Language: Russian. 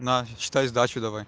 на считай сдачу давай